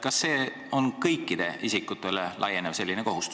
Kas selline kohustus on kõikidel isikutel?